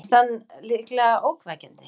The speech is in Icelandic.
Fannst hann líklega ógnvekjandi.